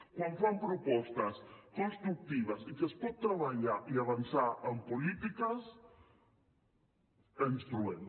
quan fan propostes constructives i que es pot treballar i avançar en polítiques ens trobem